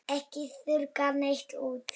Ekki þurrka neitt út.